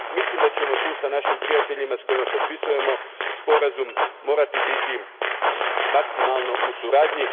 Mislim da ćemo tu s našim prijateljima s kojima potpisujemo sporazum morati biti maksimalno u suradnji.